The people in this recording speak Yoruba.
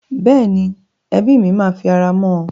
Bẹ́ẹ̀ni, ẹbí mi máa fi ara mọ́ ọn.